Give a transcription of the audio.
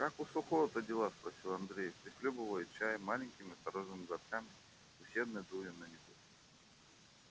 как у сухого-то дела спросил андрей прихлёбывая чай маленькими осторожными глотками и усердно дуя на него